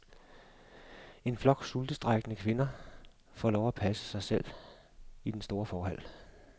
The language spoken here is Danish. En flok sultestrejkende kvinder får lov at passe sig selv i den store forhal.